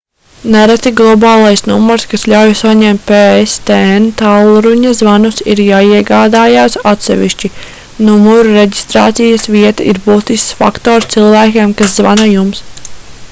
nereti globālais numurs kas ļauj saņemt pstn tālruņa zvanus ir jāiegādājas atsevišķi numura reģistrācijas vieta ir būtisks faktors cilvēkiem kas zvana jums